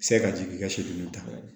Se ka jigin i ka so ni da la